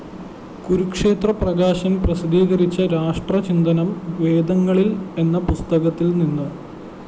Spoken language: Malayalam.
കുരുക്ഷേത്ര പ്രകാശന്‍ പ്രസിദ്ധീകരിച്ച രാഷ്ട്രചിന്തനം വേദങ്ങളില്‍ എന്ന പുസ്തകത്തില്‍നിന്ന്